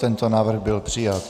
Tento návrh byl přijat.